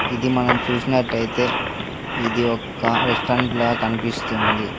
ఇది మనం చూసినట్టయితే ఇది ఒక్క రెస్టారెంట్ లాగా కనిపిస్తుంది.